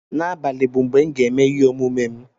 N'abalị bụ mgbe m ga-eme ihe omume m